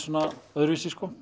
öðruvísi